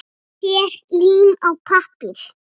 Ber lím á pappír.